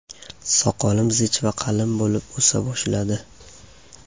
Soqolim zich va qalin bo‘lib o‘sa boshladi.